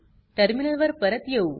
terminal वर परत येऊ